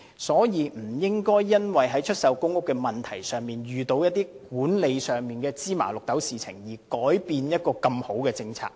所以，政府不應該因為出售公屋時，遇到一些管理上的雞毛蒜皮的事情，而改變一項這麼好的政策。